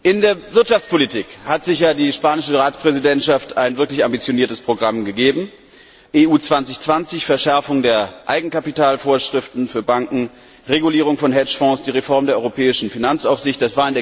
In der Wirtschaftspolitik hat sich die spanische Ratspräsidentschaft ein wirklich ambitioniertes Programm gegeben EU 2020, Verschärfung der Eigenkapitalvorschriften für Banken, Regulierung von Hedgefonds, die Reform der europäischen Finanzaufsicht.